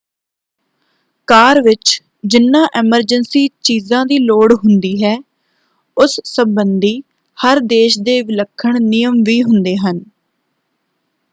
ਕਾਰ ਵਿੱਚ ਜਿਨ੍ਹਾਂ ਐਮਰਜੈਂਸੀ ਚੀਜ਼ਾਂ ਦੀ ਲੋੜ ਹੁੰਦੀ ਹੈ ਉਸ ਸੰਬੰਧੀ ਹਰ ਦੇਸ਼ ਦੇ ਵਿਲੱਖਣ ਨਿਯਮ ਵੀ ਹੁੰਦੇ ਹਨ।